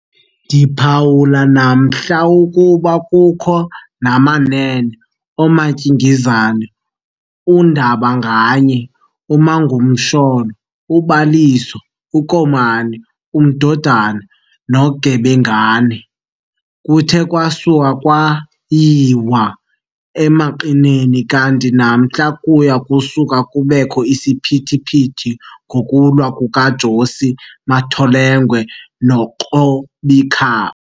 Ndiphawule namhla ukuba kukho namanene ooMtyingizane, undabanganye, uMagumasholo, uBaliso, uKomani, uMdodana, noGebengana. Kuthe kwakusa kwayiwa emanqineni kanti namhla kuya kusuke kubekho isiphithiphithi ngokulwa kuka"Josi" "Matholengwe" no"Qobikha".